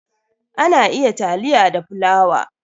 Ana iya taliya da fulawa.